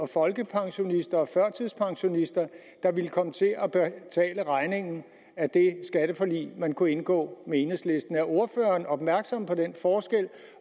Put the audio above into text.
folkepensionister og førtidspensionister der ville komme til at betale regningen af det skatteforlig man kunne have indgået med enhedslisten er ordføreren opmærksom på den forskel